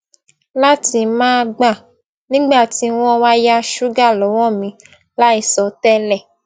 láti máa gbà nígbà tí wón wá yá ṣúgà lọwọ mi láìsọ tẹlẹ